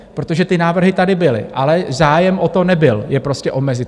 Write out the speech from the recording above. Protože ty návrhy tady byly, ale zájem o to nebyl je prostě omezit.